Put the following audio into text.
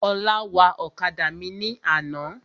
Ọlá wa ọ̀kadà mi ní àná.